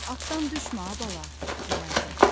Atdan düşmə, a bala, deyərdi.